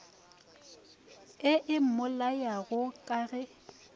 ye e mmolayago ka ge